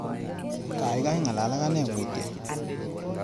Gaigai ngalal ak ane mutyo